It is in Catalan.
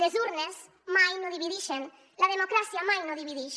les urnes mai no dividixen la democràcia mai no dividix